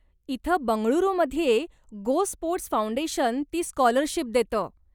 इथं बंगळुरूमध्ये GoSports foundation ती स्काॅलरशीप देतं.